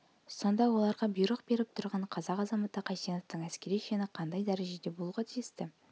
сонда оларға бұйрық беріп тұрған қазақ азаматы қайсеновтың әскери шені қандай дәрежеде болуға тиісті